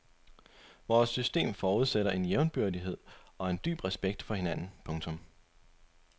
Vores system forudsætter en jævnbyrdighed og en dyb respekt for hinanden. punktum